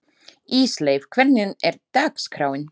Ísleif, hvernig er dagskráin?